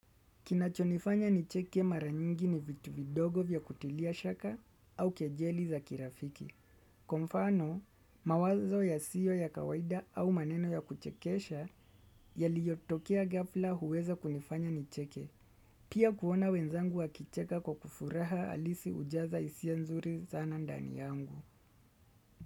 Kinachonifanya nicheke mara nyingi ni vitu vidogo vya kutilia shaka au kejeli za kirafiki. Kwa mfano, mawazo ya siyo ya kawaida au maneno ya kuchekesha yaliyotokea gafla huweza kunifanya nicheke. Pia kuona wenzangu wa kicheka kwa kufuraha halisi hujaza hisia nzuri sana ndani yangu.